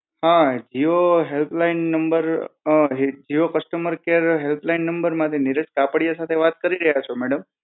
હા Jio help line number, um Jio customer care help line number માંથી નીરજ કાપડિયા સાથે વાત કરી રહ્યા છો મેડમ